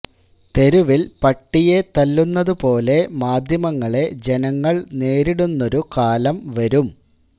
തെരുവില് പട്ടിയെ തല്ലുന്ന പോലെ മാധ്യമങ്ങളെ ജനങ്ങള് നേരിടുന്നൊരു കാലം വരും